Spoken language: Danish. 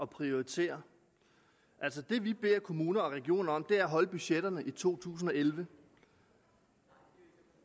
prioritere det vi beder kommuner og regioner om er at holde budgetterne i to tusind og elleve